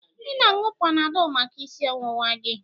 Ị na-aṅụ Panadọlụ maka isi ọwụwa gị.